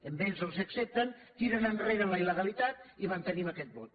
a ells els ho accepten tiren enrere la il·legalitat i mantenim aquest vot